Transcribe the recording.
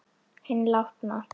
Hinn látna.